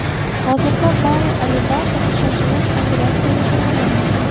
Hozirda Bari Alibasov shoshilinch operatsiyaga tayyorlanmoqda .